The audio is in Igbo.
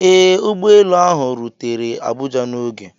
Ee, ụgbọ elu ahụ rutere Abuja n'oge.